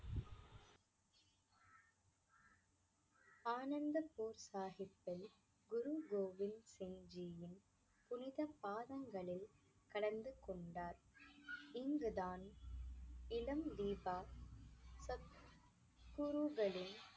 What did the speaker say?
அனந்த்பூர் சாஹிப்பில் குரு கோபிந்த் சிங் ஜியின் புனித பாதங்களில் கலந்து கொண்டார். இங்குதான் இளம் தீபா